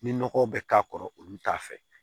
Ni nɔgɔw bɛ k'a kɔrɔ olu t'a fɛ